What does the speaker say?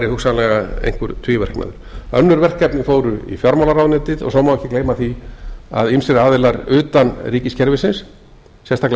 hugsanlega einhver tvíverknaður önnur verkefni fóru í fjármálaráðuneytið og svo má ekki gleyma því að ýmsir aðilar utan ríkiskerfisins sérstaklega